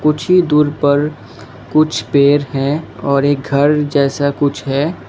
कुछ ही दूर पर कुछ पेड़ हैं और एक घर जैसा कुछ है।